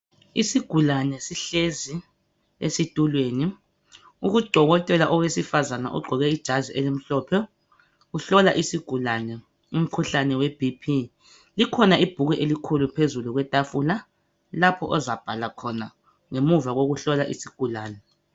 Isigulane sihlezi esitulweni udokotela owesifazane ogqoke ijazi elimhlophe ihlola isigulane umkhuhlane weBP likhona ibhuku elikhulu phezulu kwetafula lapho ozabhala khona ngemuva kokuhlola isigulane.